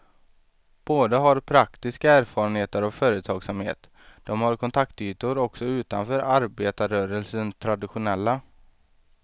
Båda har praktiska erfarenheter av företagsamhet, de har kontaktytor också utanför arbetarrörelsens traditionella.